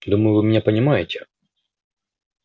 думаю вы меня понимаете